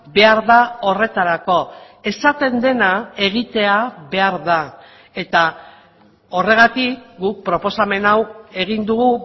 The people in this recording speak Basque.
behar da horretarako esaten dena egitea behar da eta horregatik guk proposamen hau egin dugu